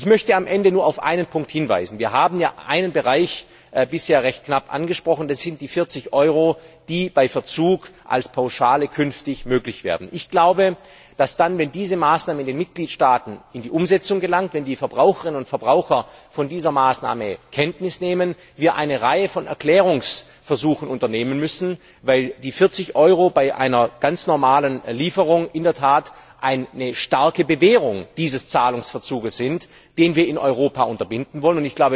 Ich möchte am Ende nur auf einen Punkt hinweisen Wir haben ja einen Bereich bisher recht knapp angesprochen, das sind die 40 Euro, die bei Verzug als Pauschale künftig möglich werden. Ich glaube, dass dann, wenn diese Maßnahme in den Mitgliedstaaten zur Umsetzung gelangt, wenn die Verbraucherinnen und Verbraucher von dieser Maßnahme Kenntnis nehmen, wir eine Reihe von Erklärungsversuchen unternehmen müssen, weil die 40 Euro bei einer ganz normalen Lieferung in der Tat eine starke Bewehrung dieses Zahlungsverzuges sind, den wir in Europa unterbinden wollen.